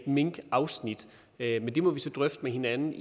minkafsnit men det må vi så drøfte med hinanden